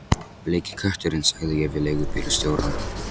Bleiki kötturinn sagði ég við leigubílstjórann.